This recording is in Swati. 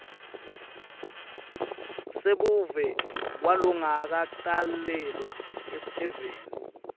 sebuve kwalongakatalelwa eveni